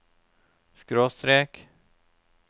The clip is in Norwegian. skråstrek